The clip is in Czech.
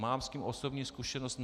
Mám s tím osobní zkušenost.